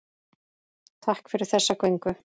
Takk fyrir þessa göngu.